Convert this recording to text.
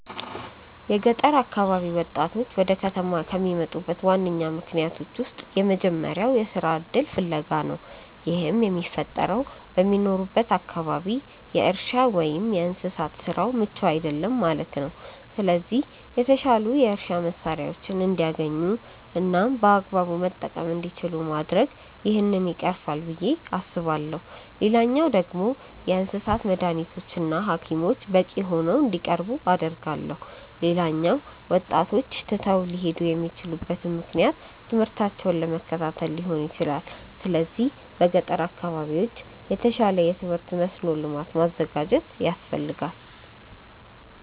የገጠር አካባቢ ወጣቶች ወደ ከተማ ከሚመጡበት ዋነኛ ምክንያቶች ውስጥ የመጀመሪያው የስራ እድል ፍለጋ ነው። ይህም የሚፈጠረው በሚኖሩበት አካባቢ የእርሻ ወይም የእንስሳት ስራው ምቹ አይደለም ማለት ነው። ስለዚህ የተሻሉ የእርሻ መሳሪያዎችን እንዲያገኙ እናም በአግባቡ መጠቀም እንዲችሉ ማድረግ ይህንን ችግር ይቀርፋል ብዬ አስባለሁ። ሌላኛው ደግሞ የእንስሳት መዳኒቶች እና ሀኪሞች በቂ ሆነው እንዲቀርቡ አደርጋለሁ። ሌላኛው ወጣቶች ትተው ሊሄዱ የሚችሉበት ምክንያት ትምህርታቸውን ለመከታተል ሊሆን ይችላል። ስለዚህ በገጠር አካባቢዎች የተሻለ የትምህርት መስኖ ልማት ማዘጋጀት ያስፈልጋል።